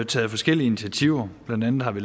taget forskellige initiativer blandt andet har vi